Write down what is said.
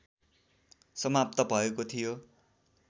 समाप्त भएको थियो